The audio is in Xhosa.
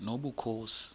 nobukhosi